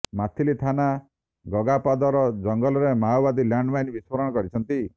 ମାଥିଲି ଥାନା ଗଗାପଦର ଜଙ୍ଗଲରେ ମାଓବାଦୀ ଲ୍ୟାଣ୍ଡମାଇନ୍ ବିସ୍ଫୋରଣ କରିଛନ୍ତି